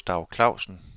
Gustav Klausen